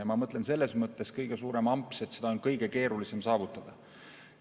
Ja ma mõtlen, selles mõttes kõige suurem amps, et seda on kõige keerulisem saavutada.